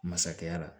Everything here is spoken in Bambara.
Masakɛya la